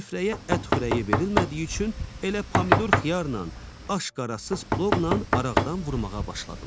Süfrəyə ət xörəyi verilmədiyi üçün elə pomidor xiyarla, aşqarasız plovla araqdan vurmağa başladılar.